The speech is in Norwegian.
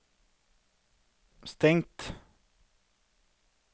stengt